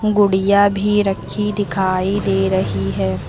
गुड़िया भी रखी दिखाई दे रही है।